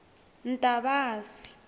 ntavasi